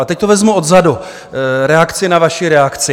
Ale teď to vezmu odzadu, reakce na vaši reakci.